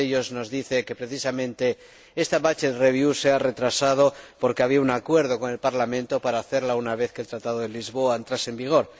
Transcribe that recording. Uno de ellos nos dice que, precisamente, esta se ha retrasado porque había un acuerdo con el Parlamento para hacerla una vez que el Tratado de Lisboa entrase en vigor.